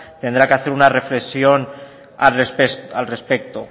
tendrá que hacer una reflexión al respecto